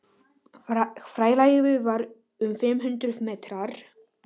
Fjarlægðin var um fimm hundruð metrar.